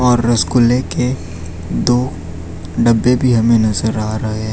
और रसगुल्ले के दो डब्बे भी हमें नजर आ रहे है।